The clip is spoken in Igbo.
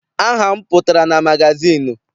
Aha m pụtara na magazịịnụ.